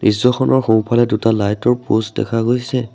দৃশ্যখনৰ সোঁফালে দুটা লাইটৰ পোষ্ট দেখা গৈছে।